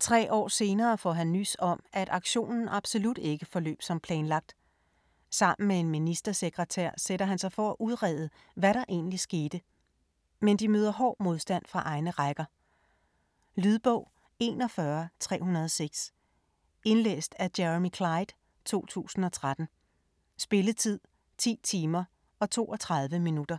Tre år senere får han nys om, at aktionen absolut ikke forløb som planlagt. Sammen med en ministersekretær sætter han sig for at udrede, hvad der egentlig skete. Men de møder hård modstand fra egne rækker. Lydbog 41306 Indlæst af Jeremy Clyde, 2013. Spilletid: 10 timer, 32 minutter.